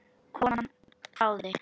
Konan hváði.